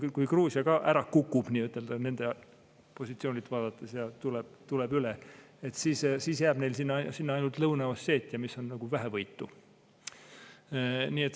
Kui Gruusia ka ära kukub nende positsioonilt vaadates ja tuleb üle, siis jääb neil sinna ainult Lõuna-Osseetia, mis on nagu vähevõitu.